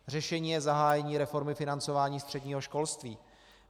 Řešením je zahájení reformy financování středního školství.